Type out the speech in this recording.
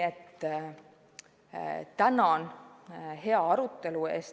Tänan hea arutelu eest!